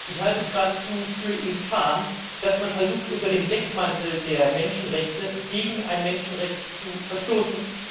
Ich halte es geradezu für infam, dass man versucht, unter dem Deckmantel der Menschenrechte gegen ein Menschenrecht zu verstoßen.